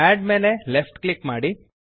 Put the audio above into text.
ಅಡ್ ಮೇಲೆ left click ಮಾಡಿ